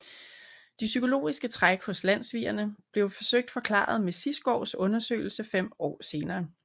De psykologiske træk hos landssvigerne blev forsøgt forklaret med Sigsgaards undersøgelse fem år senere